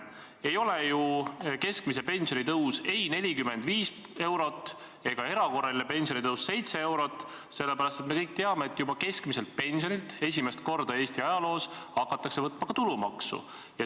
Ei ole ju keskmise pensioni tõus ei 45 eurot ega erakorraline pensionitõus 7 eurot, sest me kõik teame, et juba keskmiselt pensionilt hakatakse esimest korda Eesti ajaloos võtma ka tulumaksu.